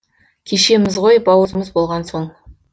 кешеміз ғой бауырымыз болған соң